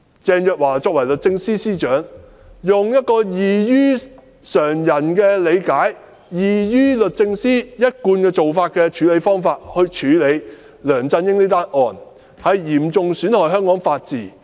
鄭若驊作為律政司司長，用一個異於常人的理解、異於律政司一貫做法的方式來處理梁振英這宗案件，嚴重損害香港的法治。